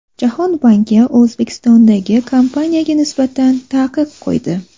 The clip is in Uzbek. Jahon banki O‘zbekistondagi kompaniyaga nisbatan taqiq qo‘ydi.